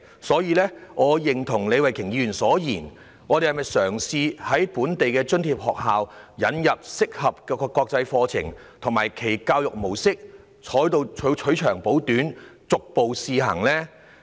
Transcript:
所以，我認同李慧琼議員所言，應嘗試在本地津貼學校引入適合的國際課程及其教育模式，取長補短，逐步試行。